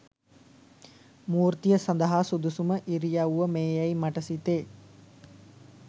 මූර්තිය සදහා සුදුසුම ඉරියව්ව මේ යැයි මට සිතේ